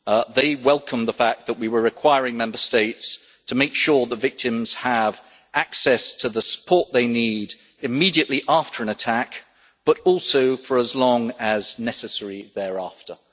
They welcomed the fact that we were requiring Member States to make sure that victims have access to the support they need not only immediately after an attack, but also for as long as necessary thereafter.